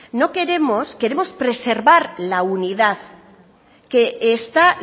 queremos preservar la unidad que está